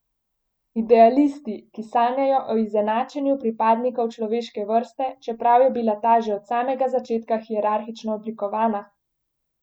Idealisti, ki sanjajo o izenačenju pripadnikov človeške vrste, čeprav je bila ta že od samega začetka hierarhično oblikovana?